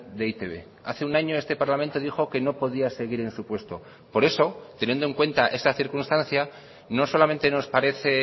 de e i te be hace un año este parlamento dijo que no podía seguir en su puesto por eso teniendo en cuenta esa circunstancia no solamente nos parece